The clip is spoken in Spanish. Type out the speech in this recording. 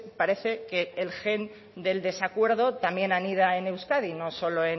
parece que el gen de desacuerdo también anida en euskadi no solo